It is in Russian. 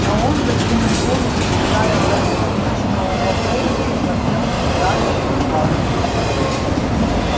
но он закинув голову и играя концом вишнёвого пояса смотрел на мелани и улыбался ей